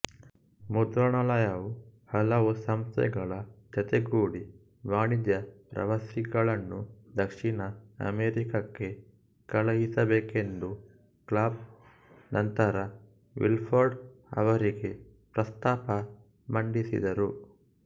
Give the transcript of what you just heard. ಮುದ್ರಣಾಲಯವು ಹಲವು ಸಂಸ್ಥೆಗಳ ಜತೆಗೂಡಿ ವಾಣಿಜ್ಯ ಪ್ರವಾಸಿಗಳನ್ನು ದಕ್ಷಿಣ ಅಮೆರಿಕಕ್ಕೆ ಕಳಿಸಬೇಕೆಂದು ಕಾಬ್ ನಂತರ ಮಿಲ್ಫೋರ್ಡ್ ಅವರಿಗೆ ಪ್ರಸ್ತಾಪ ಮಂಡಿಸಿದರು